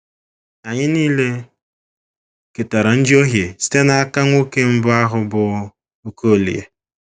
Anyị nile ketara njohie site n’aka nwoke mbụ ahụ, bụ́ Okolie.